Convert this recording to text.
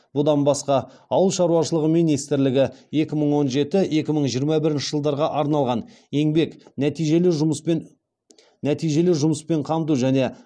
бұдан басқа ауыл шаруашылығы министрлігі екі мың он жеті екі мың жиырма бірінші жылдарға арналған еңбек нәтижелі жұмыспен қамту және